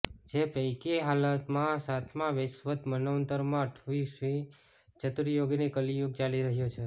જે પૈકી હાલમાં સાતમા વૈવસ્વત મન્વંતરમાં અઠ્યાવીસમી ચતુર્યુગીનો કલિયુગ ચાલી રહ્યો છે